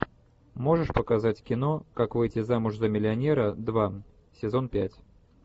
можешь показать кино как выйти замуж за миллионера два сезон пять